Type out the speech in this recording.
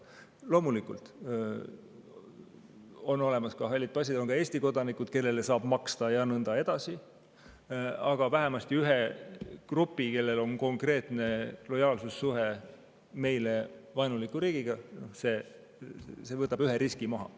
Loomulikult on olemas ka halli passi omanikud ja on ka Eesti kodanikud, kellele saab maksta, ja nõnda edasi, aga vähemasti ühe grupi puhul, kellel on konkreetne lojaalsussuhe meile vaenuliku riigiga, see võtab ühe riski maha.